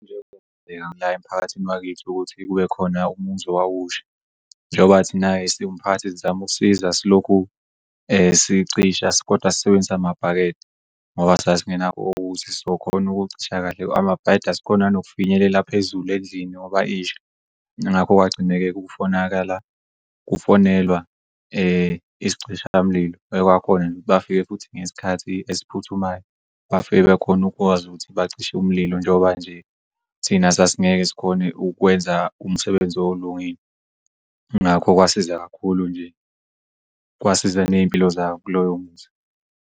La emphakathini wakithi ukuthi kubekhona umuzi owawusha njoba thina siwumphakathi sizam'ukusiza silokhu sicisha kodwa sisebenzisa amabhakede ngoba sasingenawo ukuthi sizokhon'ukucisha kahle amabhakede asikhoni nokufinyelela phezulu endlini ngoba isha ngakho kwagcine-ke kufonelwa isicishamlilo okwakhona nje ukuthi bafike futhi ngesikhathi esiphuthumayo bafike bekhone ukukwazi ukuthi bacishe umlilo njengoba nje thina sasingeke sikhon'ukwenza umsebenzi olungile. Ngakho kwasiza kakhulu nje, kwasiza ney'mpilo zabo kuloyo muzi.